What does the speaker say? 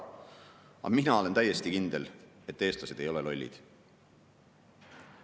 Aga mina olen täiesti kindel, et eestlased ei ole lollid.